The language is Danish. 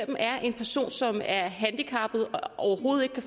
er en person som er handicappet og overhovedet ikke kan